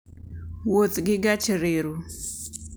Wuoth gi gach reru.